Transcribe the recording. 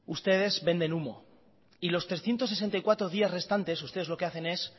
ustedes venden humo y los trescientos sesenta y cuatro días restantes ustedes lo que hacen es